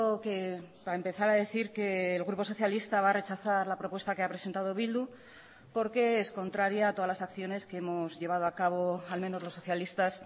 que para empezar a decir que el grupo socialista va a rechazar la propuesta que ha presentado bildu porque es contraria a todas las acciones que hemos llevado a cabo al menos los socialistas